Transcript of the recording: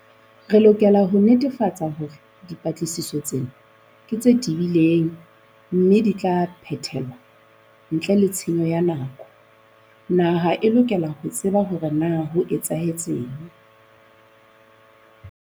Re lokela ho netefatsa hore dipatlisiso tsena ke tse tebileng mme di tla phethelwa ntle le tshenyo ya nako. Naha e lokela ho tseba ho re na ho etsahetseng.